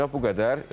Bugünə bu qədər.